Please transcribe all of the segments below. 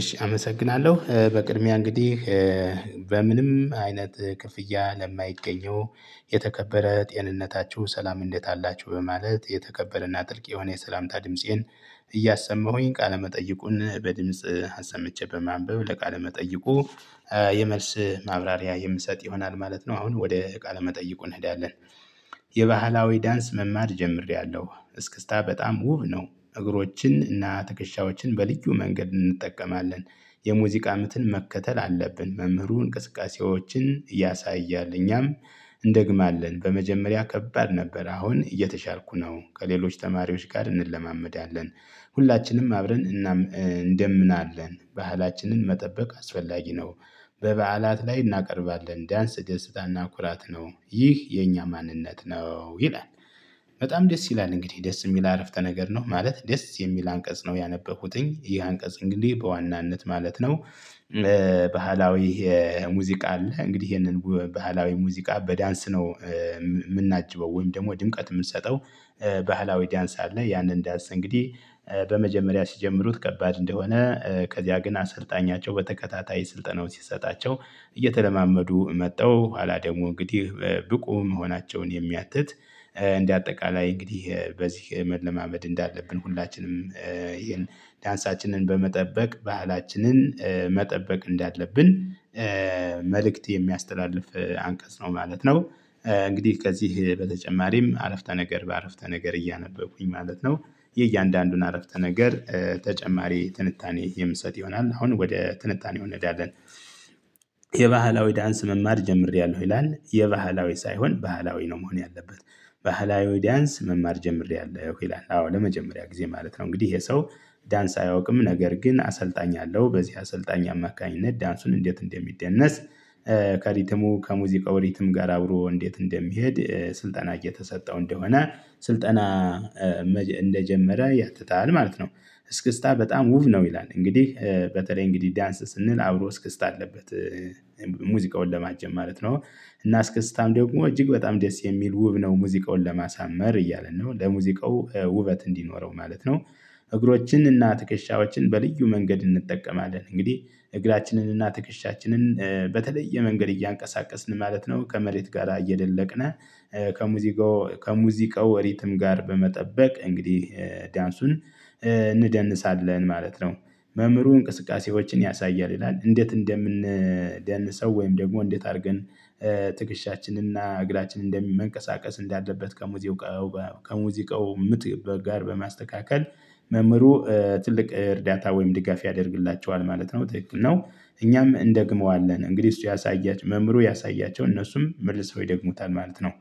እሺ አመሰግናለሁ በቅድሚያ እንግዲህ በምንም አይነት ክፍያ ለማይገኘው የተከበረ ጤንነታችሁ ሰላም እንዴት አላችሁ በማለት የተከበረና ጥልቅ የሆነ የሰላምታ ድምፄን እያሰማሁኝ ቃለመጠይቁን በድምጽ አሰመቸበት በማንበብ ለቃለመጠይቁ የመልስ ማብራሪያ የምሰጥ ይሆናል ማለት ነው። አሁን ወደ እቃ ለመጠየቁ እንሄዳለን። የባህላዊ ዳንስ መማድ ጀምሬያለሁ እስክስታ በጣም ውብ ነው። እግሮችን እና ትከሻዎችን በልዩ መንገድ እንጠቀማለን የሙዚቃ ምትን መከተል አለብን። መምህሩ እንቅስቃሴዎችን እያሳያል እኛም እንደግማለን። በመጀመሪያ ከባድ ነበር አሁን እየተሻልኩ ነው። ከሌሎች ተማሪዎች ጋር እንለማመዳለን ሁላችንም አብረን እንደምናለን ባህላችንን መጠበቅ አስፈላጊ ነው። በበዓላት ላይ እናቀርባለን ዳንስ ደስታና ኩራት ነው ይህ የኛ ማንነት ነው። ይላል በጣም ደስ ይላል። እንግዲህ ደስ የሚል አረፍተ ነገር ነው ማለት ደስ የሚል አንቀጽ ነው ያነበብኩትኝ ይህ አንቀጽ እንግዲህ በዋናነት ማለት ነው። ባህላዊ ሙዚቃ አለ እንግዲህ ይሄንን ባህላዊ ሙዚቃ በዳንስ ነው። የምናጅበው ወይም ደግሞ ድንቀት የምንሰጠው። ባህላዊ ዳንስ አለ። ያንን ዳንስ እንግዲህ በመጀመሪያ ሲጀምሩት ከባድ እንደሆነ ከዚያ ግን አሰልጣኛቸው በተከታታይ ስልጠናው ሲሰጣቸው እየተለማመዱ መጠው ኋላ ደግሞ እንግዲህ ብቁ መሆናቸውን የሚያትት። እንደ አጠቃላይ እንግዲህ በዚህ መለማመድ እንዳለብን ሁላችንም ይሄን ዳንሳችንን በመጠበቅ ባህላችንን መጠበቅ እንዳለብን መልእክት የሚያስተላልፍ አንቀጽ ነው ማለት ነው። እንግዲህ ከዚህ በተጨማሪም አረፍተ ነገር በአረፍተ ነገር እያነበብኩኝ ማለት ነው። የእያንዳንዱን አረፍተ ነገር ተጨማሪ ትንታኔ የምሰጥ ይሆናል አሁን ወደ ትንታኔ እንሄዳለን። የባህላዊ ዳንስ መማር ጀምሬያለሁ ይላል የባህላዊ ሳይሆን ባህላዊ ነው መሆን ያለበት። ባህላዊ ዳንስ መማር ጀምሬያለሁ ይላል። አዎ ለመጀመሪያ ጊዜ ማለት ነው እንግዲህ ይሄ ሰው ዳንስ አያውቅም ነገር ግን አሰልጣኝ አለው በዚህ አሰልጣኝ አማካኝነት ዳንሱን እንዴት እንደሚደነስ? ከሪትሙ ከሙዚቃው ሪትም ጋር አብሮ እንዴት እንደሚሄድ ስልጠና እየተሰጠው እንደሆነ ስልጠና እንደጀመረ ያትታል ማለት ነው። እስክስታ በጣም ውብ ነው ይላል። እንግዲህ በተለይ እንግዲህ ዳንስ ስንል አብሮ እስክስታ አለበት። ሙዚቃውን ለማጀም ማለት ነው። እና አስከስታም ደግሞ እጅግ በጣም ደስ የሚል ውብ ነው ሙዚቃውን ለማሳመር እያለ ነው ለሙዚቃው ውበት እንዲኖረው ማለት ነው። እግሮችንና ትከሻዎችን በልዩ መንገድ እንጠቀማለን እንግዲህ እግራችንን እና ትክሻችንን በተለይ የመንገድ እያንቀሳቀስን ማለት ነው ከመሬት ጋር አየለለቅነ። ከሙዚቃው ከሙዚቃው ወሪትም ጋር በመጠበቅ እንግዲህ ዳንሱን እንደንስሳለን አለን ማለት ነው። መምህሩ እንቅስቃሴዎችን ያሳያል ይላል። እንዴት እንደምንደንሰው ወይም ደግሞ እንዴት አድርገን? ትግሻችንና እግራችን እንደሚመንቀሳቀስ እንዳለበት ከሙዚቃው ከሙዚቃው ምት ጋር በማስተካከል መምህሩ ትልቅ እርዳታ ወይም ድጋፍ ያደርግላቸዋል ማለት ነው ትክክል ነው። እኛም እንደግመዋለን እንግዲህ እሱ ያሳያችሁ መምህሩ ያሳያቸው እነሱም መልሰው ይደግሙታል ማለት ነው።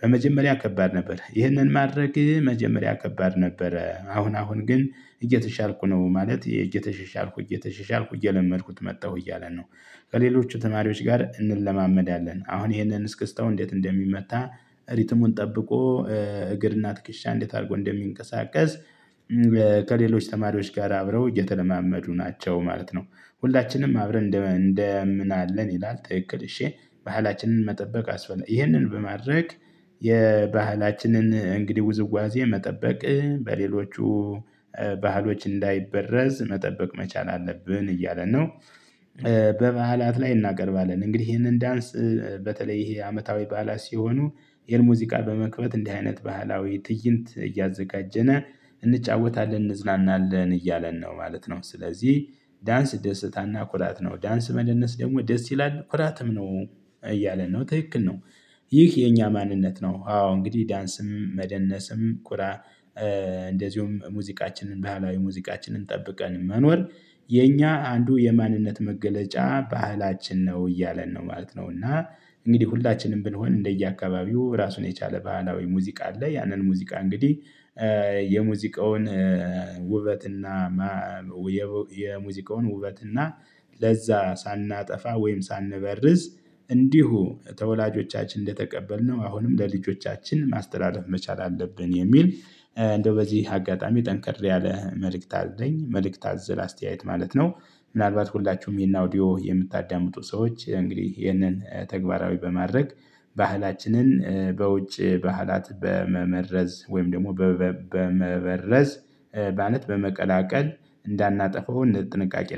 በመጀመሪያ ከባድ ነበር ይህንን ማድረግ መጀመሪያ ከባድ ነበረ አሁን አሁን ግን እየተሻርኩ ነው ማለት እየተሻሻልኩ እየተሻሻልኩ እየለመድኩት መጣሁ እያለን ነው። ከሌሎች ተማሪዎች ጋር እንለማመዳለን አሁን ይሄንን እስክስተው እንዴት እንደሚመታ ሪትሙን ጠብቆ እግርና ትክሻ እንዴት አድርጎ እንደሚንቀሳቀስ። ከሌሎች ተማሪዎች ጋር አብረው እየተለማመዱ ናቸው ማለት ነው። ሁላችንም አብረን እንደምንአለን ይላል ትክክል እሼ ባህላችንን መጠበቅ አስፈልግ ይህንን በማድረግ የባህላችንን እንግዲህ ውዝዋዜ መጠበቅ በሌሎቹ ባህሎች እንዳይበረዝ መጠበቅ መቻል አለብን እያለ ነው። በባህላት ላይ እናቀርባለን እንግዲህ ይሄንን ዳንስ በተለይ ይሄ አመታዊ ባዓላት ሲሆኑ ይሄን ሙዚቃ በመክፈት እንዲህ አይነት ባህላዊ ትይንት እያዘጋጀና እንጫወታለን እንዝናናለን እያለን ነው። ማለት ነው ስለዚህ ዳንስ ደስታና ኩራት ነው ዳንስ መደነስ ደግሞ ደስ ይላል ኩራትም ነው እያለ ነው ትክክል ነው። ይህ የኛ ማንነት ነው። አዎ እንግዲህ ዳንስም መደነስም ቁራ እንደዚሁም ሙዚቃችንን ባህላዊ ሙዚቃችንን ጠብቀን መኖር የኛ አንዱ የማንነት መገለጫ ባህላችን ነው እያለን ነው ማለት ነው። እና እንግዲህ ሁላችንም ብንሆን እንደየአካባቢው ራሱን የቻለ ባህላዊ ሙዚቃ አለ። ያንን ሙዚቃ እንግዲህ የሙዚቃውን ውበትና የሙዚቃውን ውበትና ለዛ ሳናጠፋ ወይም ሳንበርዝ እንዲሁ ተወላጆቻችን እንደተቀበልነው አሁንም ለልጆቻችን ማስተዳደር መቻል አለብን። የሚል እንደው በዚህ አጋጣሚ ጠንክር ያለ መልእክት አዘለኝ መልእክት አዝል አስተያየት ማለት ነው። ምናልባት ሁላችሁም ይሄን አውዲዮ የምታዳምጡ ሰዎች እንግዲህ ይሄንን ተግባራዊ በማድረግ ባህላችንን በውጭ ባህላት በመመረስዝ ወይም ደግሞ በመበረዝ ማለት በመቀላቀል እንዳናጠፋው እንደ ጥንቃቄ